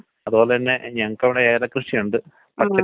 ആ സിംപ്റ്റമാണ് പറയണത്.